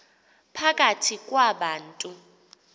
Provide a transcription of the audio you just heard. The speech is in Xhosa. phakathi kwa bantu